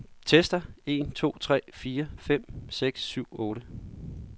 Tester en to tre fire fem seks syv otte.